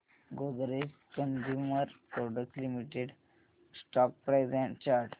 Godrej Consumer Products Limited stock price and chart